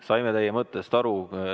Saime teie mõttest aru.